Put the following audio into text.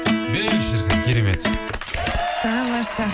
беу шіркін керемет тамаша